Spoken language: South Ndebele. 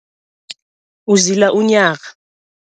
Uzila unyaka.